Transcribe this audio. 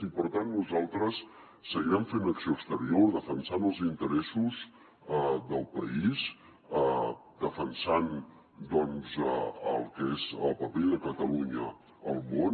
i per tant nosaltres seguirem fent acció exterior defensant els interessos del país defensant doncs el que és el paper de catalunya al món